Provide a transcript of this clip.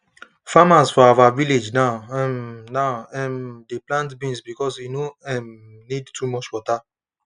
farmers for our village now um now um dey plant beans because e no um need too much water